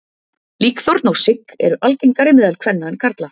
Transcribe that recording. Líkþorn og sigg eru algengari meðal kvenna en karla.